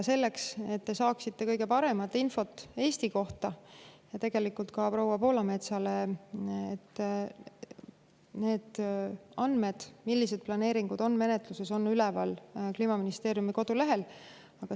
Selleks, et te saaksite kõige paremat infot Eesti kohta, ja tegelikult on see ka proua Poolametsale: need andmed selle kohta, millised planeeringud on menetluses, on üleval Kliimaministeeriumi kodulehel.